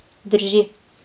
Drži.